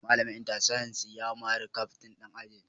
Malamin Inter-Science ya mari Captain din ajin